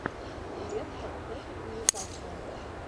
лестер против ньюкасла